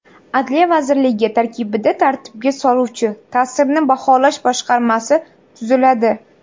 Adliya vazirligi tarkibida tartibga soluvchi ta’sirni baholash boshqarmasi tuziladi.